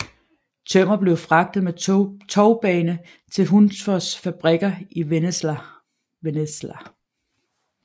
Tømmer blev fragtet med tovbane til Hunsfos fabrikker i Vennesla